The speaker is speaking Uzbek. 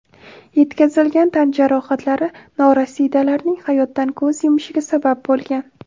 Yetkazilgan tan jarohatlari norasidalarning hayotdan ko‘z yumishiga sabab bo‘lgan.